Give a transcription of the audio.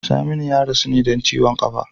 Saminu ya rasu ne don ciwon kafa.